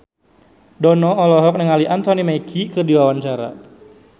Dono olohok ningali Anthony Mackie keur diwawancara